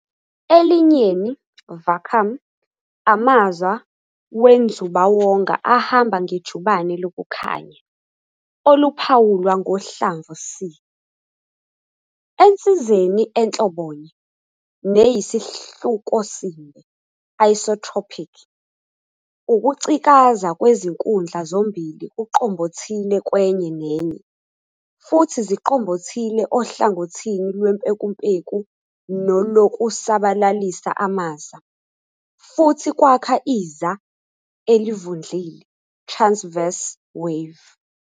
Elinyeni "vacuum", amaza wenzubawonga ahamba ngejubane lokukhanya, oluphawulwa ngohlamvu C. Ensizeni enhlobonye, neyesihlukosimbe "isotropic", ukucikaza kwezinkundla zombili kuqombothile kwenye nenye, futhi ziqombothile ohlangothini lwempekumpeku nolokusabalalisa amaza, futhi kwakha iZa elivundlile "transverse wave".